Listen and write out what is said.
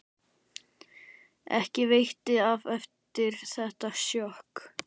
Ekki veitti af eftir þetta sjokk.